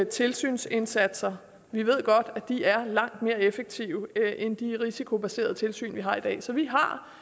tilsynsindsatser vi ved godt at de er langt mere effektive end de risikobaserede tilsyn vi har i dag så vi